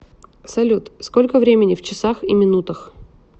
салют сколько времени в часах и минутах